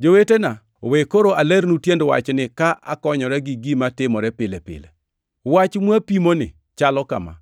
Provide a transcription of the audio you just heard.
Jowetena, we koro alernu tiend wachni ka akonyora gi gima timore pile pile. Wach mwapimoni chalo kama: